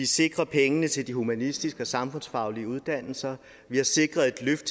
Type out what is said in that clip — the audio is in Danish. sikret penge til de humanistiske og samfundsfaglige uddannelser vi har sikret et løft